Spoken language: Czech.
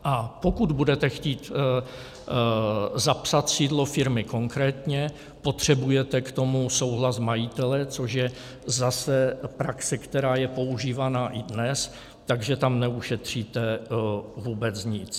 A pokud budete chtít zapsat sídlo firmy konkrétně, potřebujete k tomu souhlas majitele, což je zase praxe, která je používána i dnes, takže tam neušetříte vůbec nic.